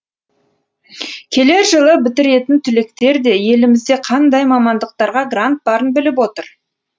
келер жылы бітіретін түлектер де елімізде қандай мамандықтарға грант барын біліп отыр